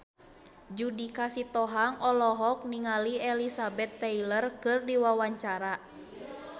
Judika Sitohang olohok ningali Elizabeth Taylor keur diwawancara